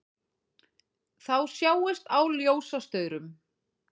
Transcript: Þá sjáist á ljósastaurum